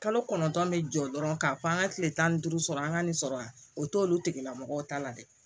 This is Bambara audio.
Kalo kɔnɔntɔn ne jɔ dɔrɔn k'a fɔ an ka kile tan ni duuru sɔrɔ an ka nin sɔrɔ yan o t'olu tigilamɔgɔ ta la dɛ